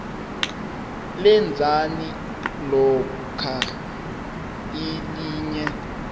lenzani lokhuya elinye